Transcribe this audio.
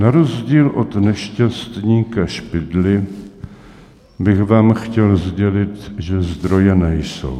Na rozdíl od nešťastníka Špidly bych vám chtěl sdělit, že zdroje nejsou.